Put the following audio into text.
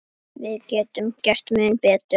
Við getum gert mun betur.